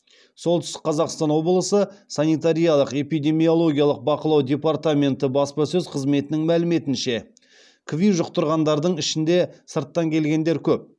солтүстік қазақстан облысы санитариялық эпидемиологиялық бақылау департаменті баспасөз қызметінің мәліметінше кви жұқтырғандардың ішінде сырттан келгендер көп